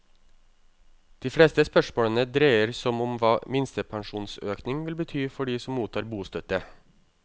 De fleste spørsmålene dreier som om hva minstepensjonsøkning vil bety for de som mottar bostøtte.